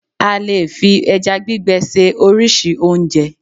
a lè fi eja gbigbe se oríṣi onje